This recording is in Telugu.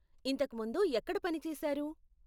ఇంతకు ముందు ఎక్కడ పని చేశారు?